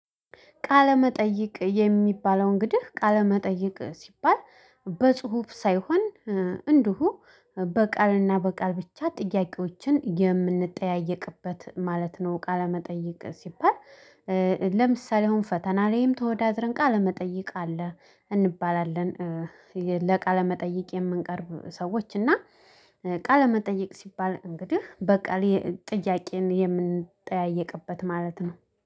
ቃለመጠይቅ የሚባለው እንግዲህ ቃለመጠይቅ ሲባል በጽሁፍ ሳይሆን እንደው በቃልና በቃል ብቻ ጥያቄዎችን የምንጠያየቅበት ማለት ነው። ቃለመጠየቅ ሲባል። ለምሳሌ አሁን ፈተና ላይም ተወዳድረን ቃለ መጠይቅ አለ እንባላለን። ለቃለመጠየቅ የምንቀርብ ሰዎች እና ቃለመጠየቅ ሲባል እንግዲህ በቃ ጥያቄን የምንጠያየቅበት ማለት ነው